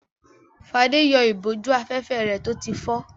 Fadé yọ ìbòjú-afẹ́fẹ́ rẹ̀ tó ti fọ́.